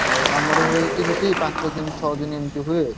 ହଉ ଆମର ହୁଏ ସେମତି ପାଞ୍ଚଦିନ ଛଅଦିନ ହୁଏ।